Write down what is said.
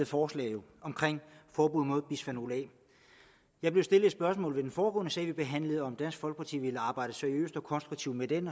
forslag om forbud mod bisfenol a jeg blev stillet et spørgsmål under den foregående sag vi behandlede nemlig om dansk folkeparti ville arbejde seriøst og konstruktivt med den